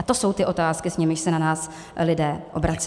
A to jsou ty otázky, s nimiž se na nás lidé obracejí.